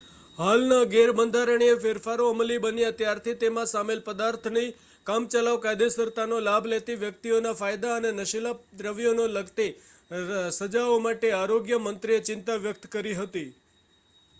હાલના ગેરબંધારણીય ફેરફારો અમલી બન્યા ત્યારથી તેમાં સામેલ પદાર્થોની કામચલાઉ કાયદેસરતાનો લાભ લેતી વ્યક્તિઓના ફાયદા અને નશીલા દ્રવ્યોને લગતી સજાઓ માટે આરોગ્ય મંત્રીએ ચિંતા વ્યક્ત કરી હતી